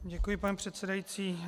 Děkuji, pane předsedající.